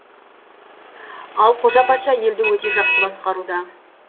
ал қожа патша елді өте жақсы басқаруда